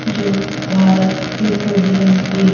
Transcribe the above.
जो भारत पेट्रोलियम है।